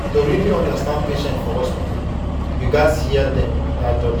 to really understand patient for hospital you gats hear dem without judging.